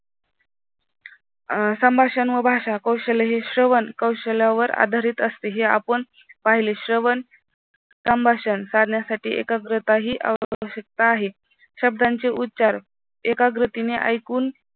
संभाषण व भाषा कौशल्य हे श्रवण कौशल्यावर आधारित असते हे आपण पाहिले श्रवण संभाषण काढण्यासाठी एकाग्रताही आवश्यकता आहे शब्दांची उच्चार एकाग्रतेने ऐकून